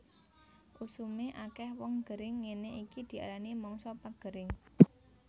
Usume akeh wong gering ngene iki diarani mangsa pagering